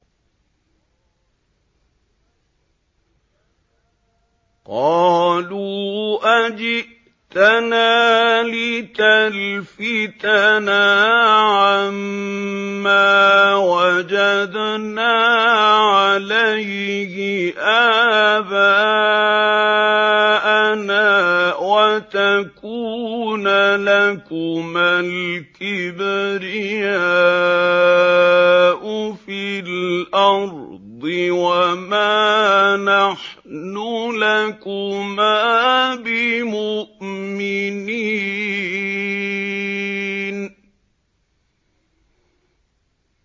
قَالُوا أَجِئْتَنَا لِتَلْفِتَنَا عَمَّا وَجَدْنَا عَلَيْهِ آبَاءَنَا وَتَكُونَ لَكُمَا الْكِبْرِيَاءُ فِي الْأَرْضِ وَمَا نَحْنُ لَكُمَا بِمُؤْمِنِينَ